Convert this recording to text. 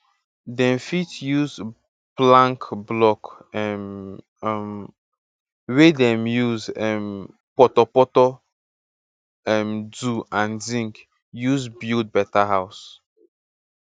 dem fit use plank block um um wey dem use um portorportor um do and zinc use build better house